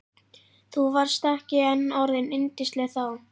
Þú varst ekki enn orðin yndisleg þá.